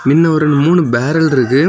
இன்ன ஒரு மூணு பேரல் இருக்கு.